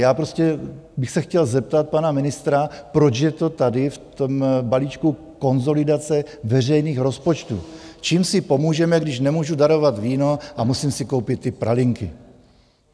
Já prostě bych se chtěl zeptat pana ministra, proč je to tady, v tom balíčku konsolidace veřejných rozpočtů, čím si pomůžeme, když nemůžu darovat víno a musím si koupit ty pralinky.